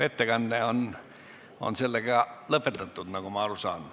Ettekanne on sellega lõpetatud, nagu ma aru saan.